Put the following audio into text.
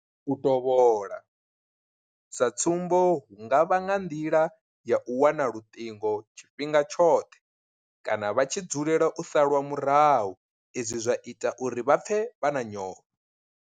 U tovhola, sa tsumbo hu nga vha nga nḓila ya u wana luṱingo tshifhinga tshoṱhe kana vha tshi dzulela u salwa murahu izwi zwa ita uri vha pfe vha na nyofho.